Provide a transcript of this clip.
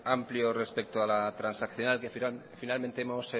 amplio respecto a la transaccional que finalmente hemos